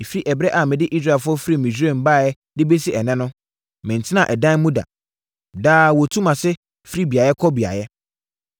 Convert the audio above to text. Ɛfiri ɛberɛ a mede Israelfoɔ firi Misraim baeɛ de bɛsi ɛnnɛ no, mentenaa ɛdan mu da. Daa wɔtu mʼase firi beaeɛ kɔ beaeɛ.